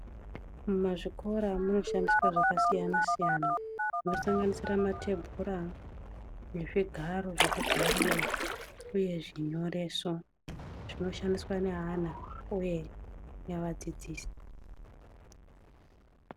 Muzvikora munoshandiswa zvakasiyana siyana zvinosanganisira matebhura nezvigaro zvekugarira uye zvinyoreso zvinoshandiswa nevana uye nevadzidzisi.